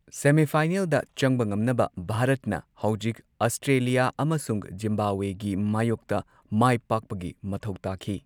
ꯁꯦꯃꯤꯐꯥꯏꯅꯦꯜꯗ ꯆꯪꯕ ꯉꯝꯅꯕ ꯚꯥꯔꯠꯅ ꯍꯧꯖꯤꯛ ꯑꯁꯇ꯭ꯔꯦꯂꯤꯌꯥ ꯑꯃꯁꯨꯡ ꯖꯤꯝꯕꯥꯕ꯭ꯋꯦꯒꯤ ꯃꯥꯌꯣꯛꯇ ꯃꯥꯏꯄꯥꯛꯄꯒꯤ ꯃꯊꯧ ꯇꯥꯈꯤ꯫